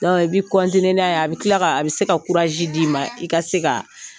i bɛ n'a ye a bɛ tila a bɛ se ka d'i ma i ka se ka